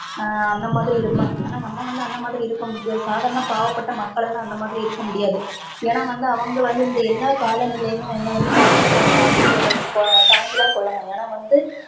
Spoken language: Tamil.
அஹ் அந்த மாதிரி இருபாங்க ஆனா நம்ப வந்து அந்த மாதிரி இருக்க முடியாது ஆனா சாதாரண பாவ பட்ட மக்கள் எல்லாம் அந்த மாதிரி இருக்க முடியாது ஏனா வந்து அவங்க வந்து இந்த எல்லா காலநிலையிலும் அவங்க தாக்கிகும் தாங்கி கொள்ளனும் தாங்கிதா கொள்ளனும் ஏனா வந்து